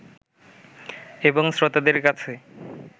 এবং শ্রোতাদের কাছে